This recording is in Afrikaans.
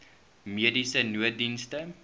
mediese nooddienste